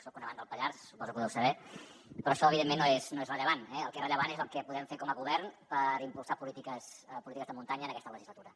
soc un amant del pallars suposo que ho deu saber però això evidentment no és rellevant eh el que és rellevant és el que podem fer com a govern per impulsar polítiques de muntanya en aquesta legislatura